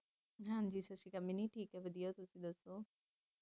ਹਾਂਜੀ ਸਤਿ ਸ਼੍ਰੀ ਅਕਾਲ ਮਿੰਨੀ, ਠੀਕ ਆ ਵਧੀਆ ਤੁਸੀ ਦੱਸੋ,